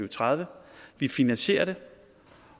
og tredive vi finansierer det